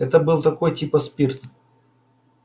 это был такой типа спирт